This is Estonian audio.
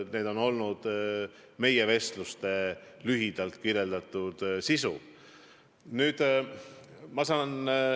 See on lühidalt öeldes olnud meie vestluste sisu.